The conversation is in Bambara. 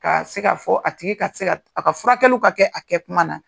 Ka se ka fɔ a tigi ka se ka a ka furakɛliw ka kɛ , a kɛ kuma na.